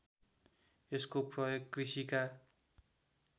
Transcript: यसको प्रयोग कृषिका